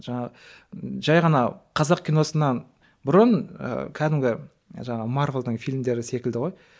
жаңа жай ғана қазақ киносынан бұрын ы кәдімгі жаңағы марвелдің фильмдері секілді ғой